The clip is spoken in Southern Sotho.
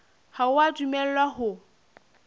ha o a dumellwa ho